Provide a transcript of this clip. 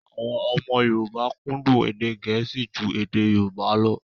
Àwọn ọmọ Yorùbá kúndùn èdè Gẹ̀ẹ́sì ju èdè Yorùbá lọ